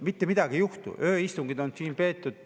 Mitte midagi ei juhtu, ööistungeid on siin peetud.